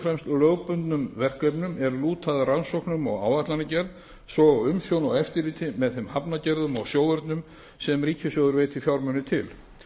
fremst lögbundnum verkefnum er lúta að rannsóknum og áætlanagerð svo og umsjón og eftirliti með þeim hafnargerðum og sjóvörnum sem ríkissjóður veitir fjármuni til